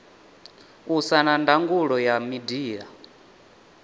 usa na ndangulo ya midia